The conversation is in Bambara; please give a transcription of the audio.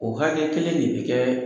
O hakɛ kelen de be kɛɛ